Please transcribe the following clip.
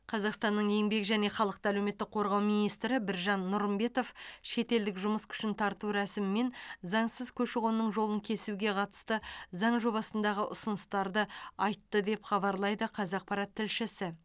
қазақстанның еңбек және халықты әлеуметтік қорғау министрі біржан нұрымбетов шетелдік жұмыс күшін тарту рәсімі мен заңсыз көші қонның жолын кесуге қатысты заңа жобасындағы ұсыныстарды айтты деп хабарлайды қазақпарат тілшісі